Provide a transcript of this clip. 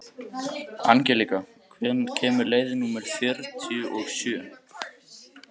Angelíka, hvenær kemur leið númer fjörutíu og sjö?